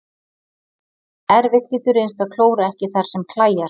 Erfitt getur reynst að klóra ekki þar sem klæjar.